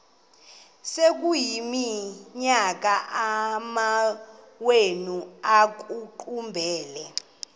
sekuyiminyaka amawenu ekuqumbele